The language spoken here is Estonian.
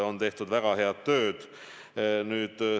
On tehtud väga head tööd.